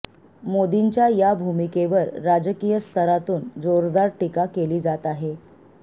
मोदींच्या या भूमिकेवर राजकीय स्तरातून जोरदार टीका केली जात आहे